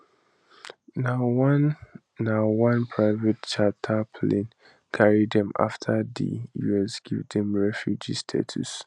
na one na one private charter plane carry dem afta di us give dem refugee status